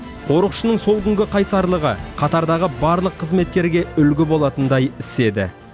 қорықшының сол күнгі қайсарлығы қатардағы барлық қызметкерге үлгі болатындай іс еді